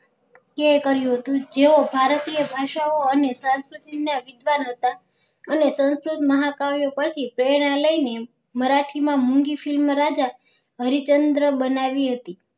કે કર્યું હતું જેઓ ભારતીય ભાષાઓ અને સંસ્કૃતિ ના વિધવાન હતા અને સંસ્કૃત મહા કાવ્યો પર થી પ્રેરણા લઇ ને મારાથી માં મૂંગી film રાજા હરિચંદ્ર બનાવી હતી